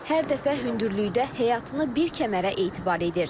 Hər dəfə hündürlükdə həyatını bir kəmərə etibar edir.